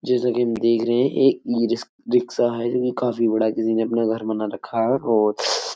जैसा कि हम देख रहें हैं एक ई रिस्क है जो कि काफी बड़ा किसी ने अपना घर बना रखा है और --